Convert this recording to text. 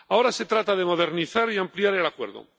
Ahora se trata de modernizar y ampliar el Acuerdo.